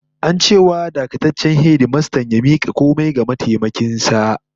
An ce wa dakataccen hedimastan ya mika komai ga mataimakin sa